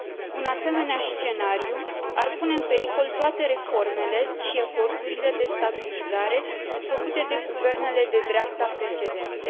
Un asemenea scenariu ar pune în pericol toate reformele și eforturile de stabilizare făcute de guvernele de dreapta precedente.